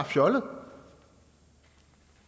fjollet